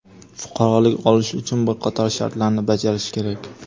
fuqarolik olish uchun bir qator shartlarni bajarish kerak.